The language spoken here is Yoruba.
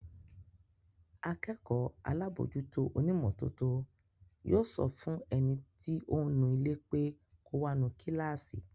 Akẹ́kọ̀ọ́ alábòójútó onímọ́tótó yóò sọ fún ẹni tí ó ń nu ilé pé kò wá nu kíláàsì